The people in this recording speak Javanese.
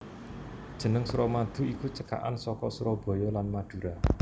Jeneng Suramadu iku cekakan saka Surabaya lan Madura